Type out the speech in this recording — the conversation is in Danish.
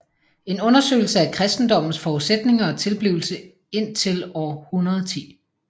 En undersøgelse af kristendommens forudsætninger og tilblivelse indtil år 110